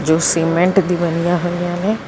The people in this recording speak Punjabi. ਸੀਮੈਂਟ ਦੀ ਬਣੀਆਂ ਹੋਈਆਂ ਨੇ।